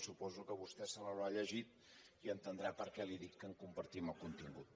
suposo que vostè se’l deu haver llegit i entendrà per què li dic que en compartim el contingut